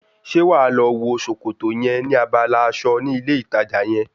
Ṣé wàá lọ wo sòkòtò yẹn ní abala aṣọ ní ilé ìtajà yẹn?